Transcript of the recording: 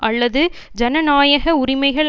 அல்லது ஜனநாயக உரிமைகள்